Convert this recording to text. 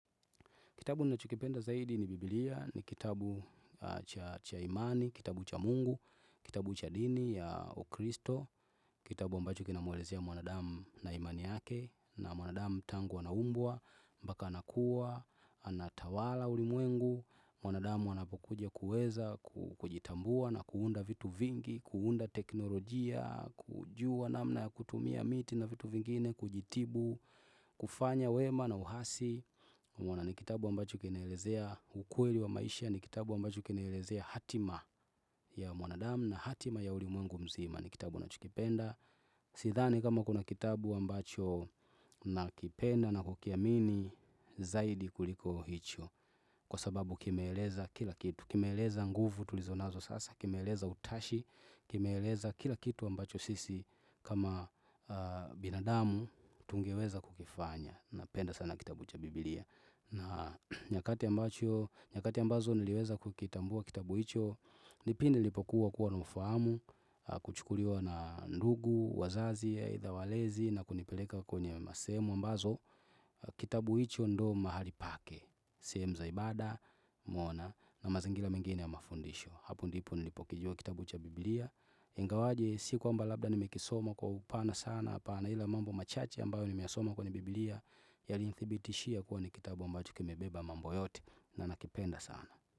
Kitabu nacho kipenda zaidi ni biblia, ni kitabu cha imani, kitabu cha mungu, kitabu cha dini ya ukristo, kitabu ambacho kinamwelezea mwanadamu na imani yake, na mwanadamu tangu anaumbwa, mbaka anakuwa, anatawala ulimwengu, mwanadamu anapokuja kuweza kujitambua na kuunda vitu vingi, kuunda teknolojia, kujua namna ya kutumia miti na vitu vingine, kujitibu, kufanya wema na uhasi. Muona ni kitabu ambacho kinaelezea ukweli wa maisha ni kitabu ambacho kenelezea hatima ya mwanadamu na hatima ya ulimwengu mzima ni kitabu nacho kipenda Sidhani kama kuna kitabu ambacho nakipenda na kukiamini Zaidi kuliko hicho Kwa sababu kimeeleza kila kitu Kimeeleza nguvu tulizo nazo sasa Kimeeleza utashi Kimeeleza kila kitu ambacho sisi kama binadamu tungeweza kukifanya Napenda sana kitabu cha biblia na nyakati ambazo niliweza kukitambua kitabu hicho ni pindi lipokuwa kuwa naufahamu Kuchukuliwa na ndugu, wazazi aidha walezi na kunipeleka kwenye masehemu ambazo Kitabu hicho ndo mahali pake sehemu za ibada, umwona na mazingila mengine ya mafundisho Hapo ndipo nilipokijua kitabu cha biblia Ingawaje si kwamba labda nimekisoma kwa upana sana Hapana ila mambo machache ambayo nimeyasoma kwenye biblia Yali nithibitishia kuwa ni kitabu ambacho kimebeba mambo yote na nakipenda sana.